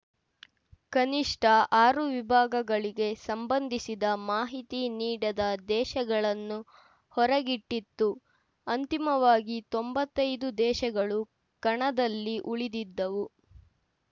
ಕನಿಷ್ಠ ಆರು ವಿಭಾಗಗಳಿಗೆ ಸಂಬಂಧಿಸಿದ ಮಾಹಿತಿ ನೀಡದ ದೇಶಗಳನ್ನು ಹೊರಗಿಟ್ಟಿತ್ತು ಅಂತಿಮವಾಗಿ ತೊಂಬತ್ತೈದು ದೇಶಗಳು ಕಣದಲ್ಲಿ ಉಳಿದಿದ್ದವು